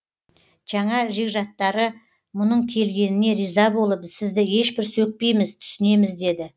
жаңа жекжаттары мұның келгеніне риза болып сізді ешбір сөкпейміз түсінеміз деді